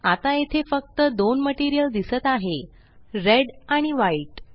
आता येथे फक्त दोन मटेरियल दिसत आहे रेड आणि व्हाईट